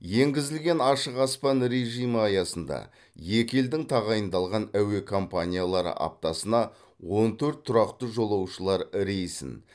енгізілген ашық аспан режимі аясында екі елдің тағайындалған әуе компаниялары аптасына он төрт тұрақты жолаушылар рейсін